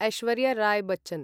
Aishwarya Rai Bachchan